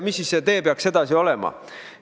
Mis see tee peaks olema?